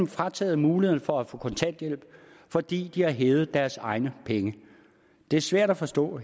frataget muligheden for at få kontanthjælp fordi de har hævet deres egne penge det er svært at forstå